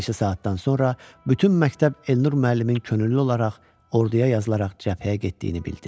Bir neçə saatdan sonra bütün məktəb Elnur müəllimin könüllü olaraq orduya yazılaraq cəbhəyə getdiyini bildi.